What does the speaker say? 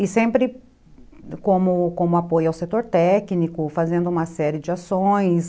E sempre como apoio ao setor técnico, fazendo uma série de ações.